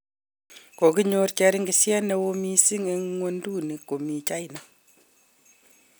Koginyoor cheringisyet neoo missing eng ng'wonduni komi China